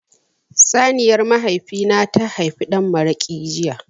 Saniyar mahaifi na ta haifi dan maraƙi jiya.